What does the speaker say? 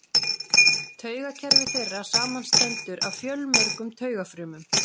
Taugakerfi þeirra samanstendur af fjölmörgum taugafrumum.